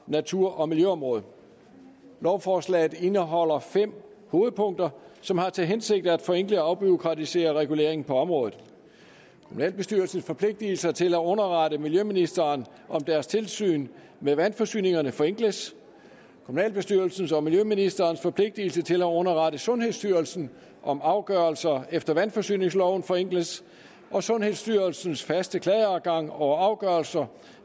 natur og miljøområdet lovforslaget indeholder fem hovedpunkter som har til hensigt at forenkle og afbureaukratisere reguleringen på området kommunalbestyrelsens forpligtigelser til at underrette miljøministeren om deres tilsyn med vandforsyningerne forenkles kommunalbestyrelsens og miljøministerens forpligtigelse til at underrette sundhedsstyrelsen om afgørelser efter vandforsyningsloven forenkles og sundhedsstyrelsens faste klageadgang over afgørelser